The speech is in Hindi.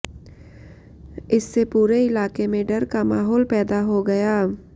इससे पूरे इलाके में डर का माहौल पैदा हो गया